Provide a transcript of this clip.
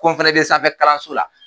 Ko n fana bɛ sanfɛkalanso la